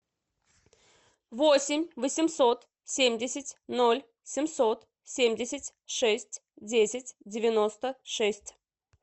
восемь восемьсот семьдесят ноль семьсот семьдесят шесть десять девяносто шесть